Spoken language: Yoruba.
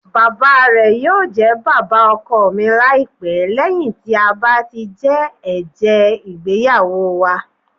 Bàbá rẹ yóò jẹ bàbá ọkọ mi laipẹ lẹhin ti a ba ti jẹ ẹjẹ igbeyawo wa.